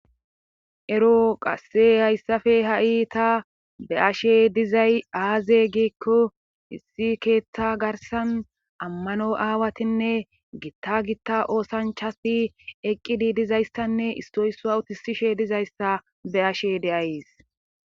Ero qasse hayssafe ha'ita be ashe dizay aaze giekko issi keeththa garsan ammano aawatinne giitta gitta oosanchai eqqidi dizayssanne istoysua utisishe dizayssa be ashe de'ays.